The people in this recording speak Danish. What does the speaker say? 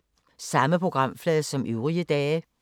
Samme programflade som øvrige dage